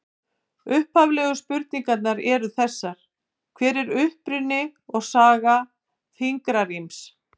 Upphaflegu spurningarnar eru þessar: Hver er uppruni og saga fingraríms?